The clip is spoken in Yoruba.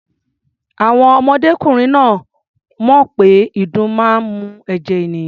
Àwọn ọmọdékùnrin náà ò mọ̀ pé ìdun máa ń mu ẹ̀jẹ̀ ènìyàn.